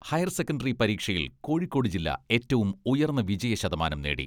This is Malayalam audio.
ഹയർ സെക്കന്ററി പരീക്ഷയിൽ കോഴിക്കോട് ജില്ല ഏറ്റവും ഉയർന്ന വിജയ ശതമാനം നേടി.